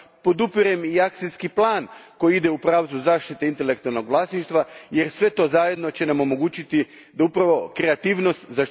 Podupirem i akcijski plan koji ide u pravcu zaštite intelektualnog vlasništva jer sve to zajedno će nam omogućiti da upravo kreativnost, tj.